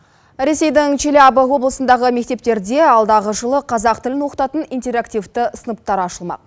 ресейдің челябі облысындағы мектептерде алдағы жылы қазақ тілін оқытатын интерактивті сыныптар ашылмақ